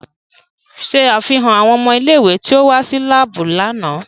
Ṣe afihan awọn ọmọ ile-iwe ti o wa si laabu lánà!